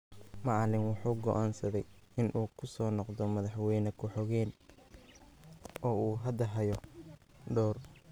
Macallin waxa uu go’aansaday in uu ku soo noqdo madaxweyne ku xigeenka, oo uu hadda hayo Dr.